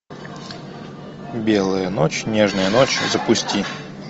белая ночь нежная ночь запусти